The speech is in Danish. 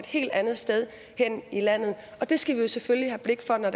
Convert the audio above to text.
helt andet sted hen i landet og det skal vi selvfølgelig have blik for når